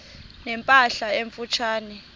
ne mpahla emfutshane